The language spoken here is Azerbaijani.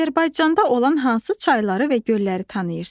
Azərbaycanda olan hansı çayları və gölləri tanıyırsan?